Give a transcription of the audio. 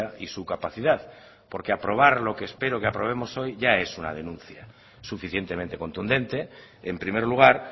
y su capacidad porque aprobar lo que espero que aprobemos hoy ya es una denuncia suficientemente contundente en primer lugar